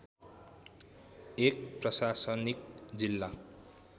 एक प्रशासनिक जिल्ला